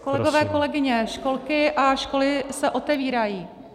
Kolegové, kolegyně, školky a školy se otevírají.